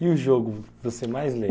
E o jogo, você mais lembra?